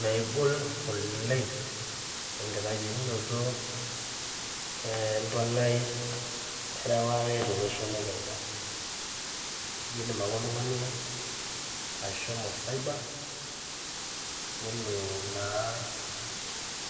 Megol oleng enkitangejukoto empalai ereware tolosho le kenya kidim ake oltung'ani ashomo cyber nelo naa